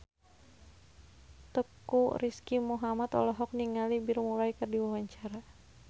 Teuku Rizky Muhammad olohok ningali Bill Murray keur diwawancara